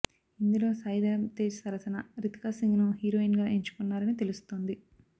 ఇందులో సాయి ధరమ్ తేజ్ సరసన రితికా సింగ్ ను హీరోయిన్ గా ఎంచుకున్నారని తెలుస్తోంది